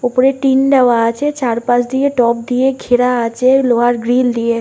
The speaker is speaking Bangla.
ওপরে টিন দেওয়া আছে। চারপাশ দিয়ে টব দিয়ে ঘেরা আছে লোহার গ্রিল দিয়ে।